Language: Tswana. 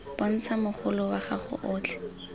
bontsha mogolo wa gago otlhe